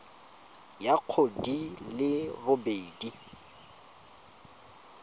ya go di le robedi